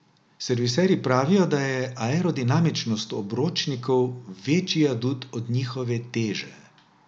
Serviserji pravijo, da je aerodinamičnost obročnikov večji adut od njihove teže.